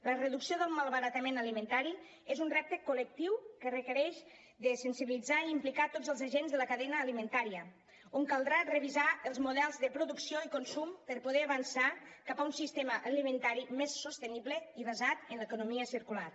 la reducció del malbaratament alimentari és un repte col·lectiu que requereix sensibilitzar i implicar tots els agents de la cadena alimentària on caldrà revisar els models de producció i consum per poder avançar cap a un sistema alimentari més sostenible i basat en l’economia circular